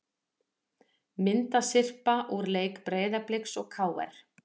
Myndasyrpa úr leik Breiðabliks og KR